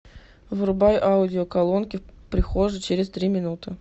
вырубай аудио колонки в прихожей через три минуты